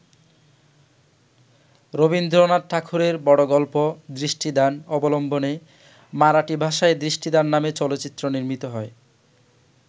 রবীন্দ্রনাথ ঠাকুরের বড় গল্প ‘দৃষ্টিদান’ অবলম্বনে মারাঠি ভাষায় ‘দৃষ্টিদান’ নামে চলচ্চিত্র নির্মিত হয়।